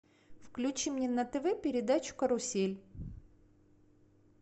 включи мне на тв передачу карусель